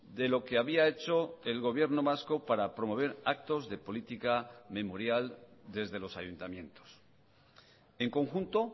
de lo que había hecho el gobierno vasco para promover actos de política memorial desde los ayuntamientos en conjunto